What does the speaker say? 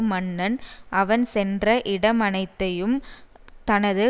மன்னன் அவன் சென்ற இடமனைத்தையும் தனது